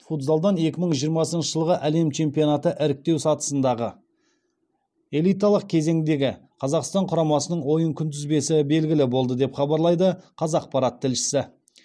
футзалдан екі мың жиырмасыншы жылғы әлем чемпионаты іріктеу сатысындағы элиталық кезеңіндегі қазақстан құрамасының ойын күнтізбесі белгілі болды деп хабарлайды қазақпарат тілшісі